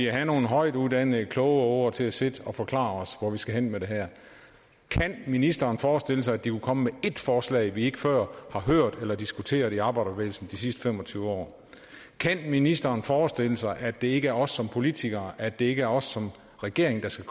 have nogle højtuddannede kloge åger til at sidde og forklare os hvor vi skal hen med det her kan ministeren forestille sig at de kunne komme med et forslag vi ikke før har hørt eller diskuteret i arbejderbevægelsen de sidste fem og tyve år kan ministeren forestille sig at det ikke er os som politikere at det ikke er os som regering der skal